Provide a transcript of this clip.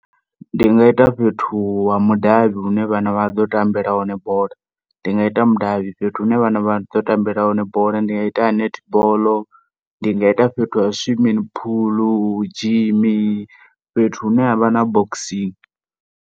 Ndi nga ita fhethu ha mudavhi hu ne vhana vha ḓo tambela hone bola. Ndi nga ita mudavhi fhethu hu ne vhana vha ḓo tambela hone bola. Ndi nga ita ha netball, ndi nga ita fhethu ha swimming pool, gym, fhethu hune ha vha na boxing.